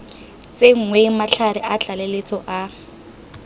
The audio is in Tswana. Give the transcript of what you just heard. tsenngwe matlhare a tlaleletso a